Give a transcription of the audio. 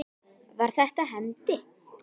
Það styttir mjög leiðir.